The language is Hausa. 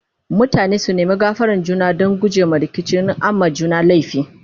mutane su nema gafaran juna Dan gujema rikici in an ma juna laifi